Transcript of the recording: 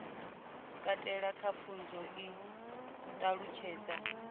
katela kha pfunzo i ṱalutshedza